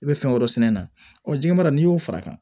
I bɛ fɛn wɛrɛ sɛnɛ a na ɔ ji mana n'i y'o fara a kan